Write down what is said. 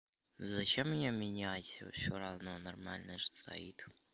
зачем мне менять и всё равно нормальная же стоит